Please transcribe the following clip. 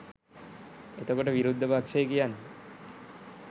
එතකොට විරුද්ධ පක්ෂය කියන්නේ